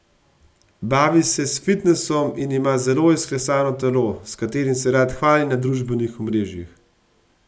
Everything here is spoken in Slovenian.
Bavi se s fitnesom in ima zelo izklesano telo, s katerim se rad hvali na družbenih omrežjih.